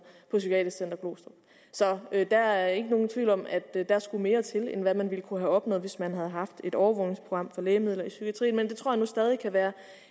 på psykiatrisk center glostrup så der er ikke nogen tvivl om at der skulle mere til end hvad man ville kunne have opnået hvis man havde haft et overvågningsprogram for lægemidler i psykiatrien men det tror jeg nu stadig kan være